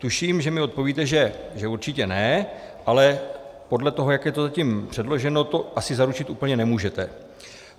Tuším, že mi odpovíte, že určitě ne, ale podle toho, jak je to zatím předloženo, to asi zaručit úplně nemůžete.